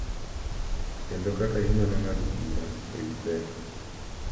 Kendo kaka inyalo ng’ado bura e wi pek, .